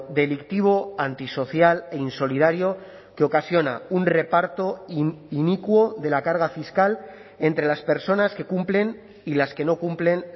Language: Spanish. delictivo antisocial e insolidario que ocasiona un reparto inicuo de la carga fiscal entre las personas que cumplen y las que no cumplen